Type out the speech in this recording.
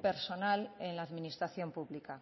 personal en la administración pública